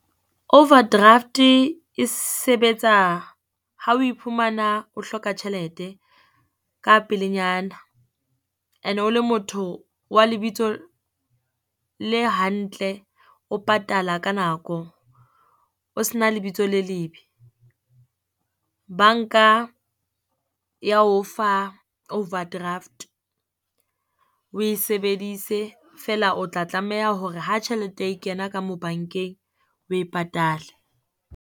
Overdraft e sebetsa ha o iphumana, o hloka tjhelete ka pelenyana, ene o le motho wa lebitso le hantle, o patala ka nako. O se na lebitso le lebe, banka ya o fa overdraft oe sebedise feela o tla tlameha hore ha tjhelete e kena ka mo bankeng, oe patale.